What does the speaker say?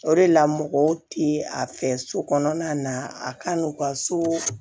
O de la mɔgɔw ti a fɛ so kɔnɔna na a ka n'u ka so